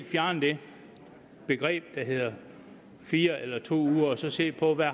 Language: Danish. fjerne det begreb der hedder fire eller to uger og så se på hvad